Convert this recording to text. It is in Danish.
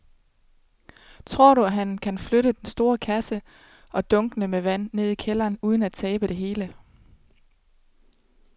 Tror du, at han kan flytte den store kasse og dunkene med vand ned i kælderen uden at tabe det hele?